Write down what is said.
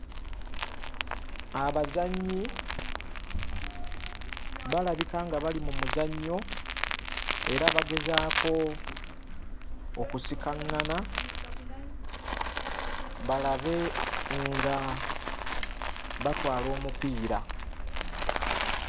Abazannyi balabika nga bali mu muzannyo era bagezaako okusikaŋŋana balabe nga batwala omupiira.